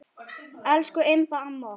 Elsku Imba amma okkar.